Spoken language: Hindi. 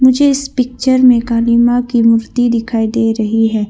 मुझे इस पिक्चर में काली मां की मूर्ति दिखाई दे रही है।